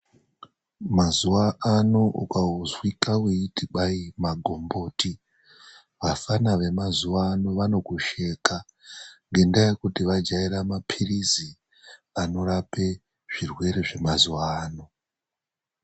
Mazuva ano ukazwika weiti kwayi magomboti, vafana vemazuva ano vanokusheka ngendaa yekuti vajaira mapirisi anorapa zvirwere zvemazuvaano.